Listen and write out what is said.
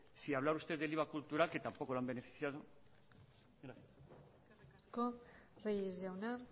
si hablara usteddel iva cultural que tampoco lo han beneficiado gracias eskerrik asko reyes jauna